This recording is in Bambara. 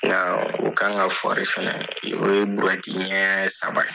Nka o kan ka fana o ye ɲɛ saba ye.